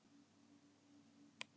Þetta félag getur valdið slysum,